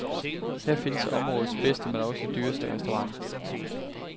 Her findes områdets bedste, men også dyreste restaurant.